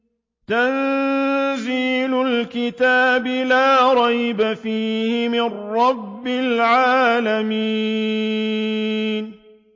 تَنزِيلُ الْكِتَابِ لَا رَيْبَ فِيهِ مِن رَّبِّ الْعَالَمِينَ